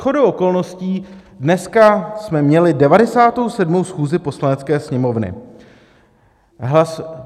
Shodou okolností dneska jsme měli 97. schůzi Poslanecké sněmovny.